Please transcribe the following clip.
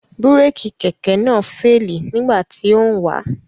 Búrékì Kẹ̀kẹ́ náà féèlì nígbà tí ó ń wà